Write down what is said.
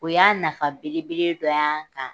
O y'a nafa belebele dɔ y'an kan.